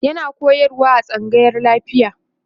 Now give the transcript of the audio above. yana koyarwa a tsangayan lafiya